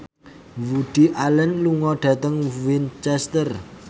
Woody Allen lunga dhateng Winchester